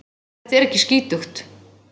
Þetta er ekki skítugt.